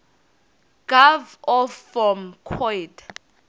gov off form coid